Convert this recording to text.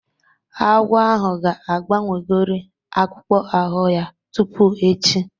Agwọ ahụ ga-agbanwegori akpụkpọ ahụ ya tupu echi